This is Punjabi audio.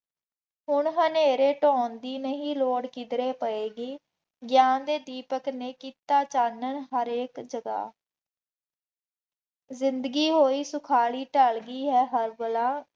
ਹੁਣ ਹਨੇਰੇ ਧੌਣ ਦੀ ਨਹੀਂ ਲੋੜ ਕਿਧਰੇ ਪਏਗੀ, ਗਿਆਨ ਦੇ ਦੀਪਕ ਨੇ ਕੀਤਾ ਚਾਨਣ ਹਰੇਕ ਜਗ੍ਹਾ, ਜ਼ਿੰਦਗੀ ਹੋਈ ਸੁਖਾਲੀ, ਢੱਲ ਗਈ ਹੈ ਹਰ ਬਲਾ,